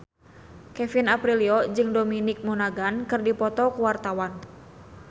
Kevin Aprilio jeung Dominic Monaghan keur dipoto ku wartawan